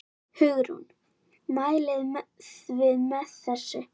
Hugrún: Mælið þið með þessu?